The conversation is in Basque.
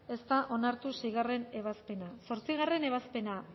ez da onartu seigarren ebazpena zortzi ebazpena